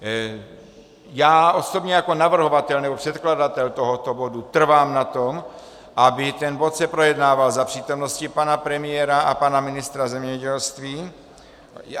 Já osobně jako navrhovatel nebo předkladatel tohoto bodu trvám na tom, aby ten bod se projednával za přítomnosti pana premiéra a pana ministra zemědělství.